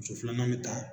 Muso filanan bɛ taa